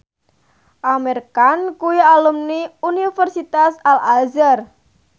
Amir Khan kuwi alumni Universitas Al Azhar